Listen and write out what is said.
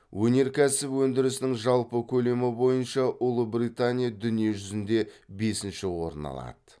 өнеркәсіп өндірісінің жалпы көлемі бойынша ұлыбритания дүние жүзінде бесінші орын алады